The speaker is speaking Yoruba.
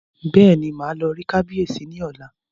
Bẹ́ẹ̀ni, màá lọ rí kábíyèsí ní ọ̀la